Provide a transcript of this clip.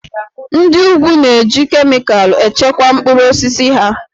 Ndị úgwù na-eji kemịkalụ echekwa mkpụrụ osisi ha